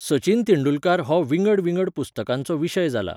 सचिन तेंडुलकार हो विंगड विंगड पुस्तकांचो विशय जाला.